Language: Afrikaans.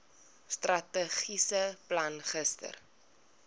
strategiese plan gister